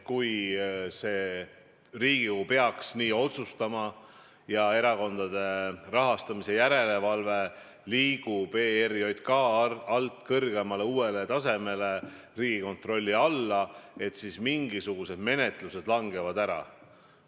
Kui Riigikogu peaks nii otsustama ja erakondade rahastamise järelevalve liigub ERJK alt kõrgemale, uuele tasemele, Riigikontrolli alla, siis pole alust arvata, et mingisugused menetlused langevad ära.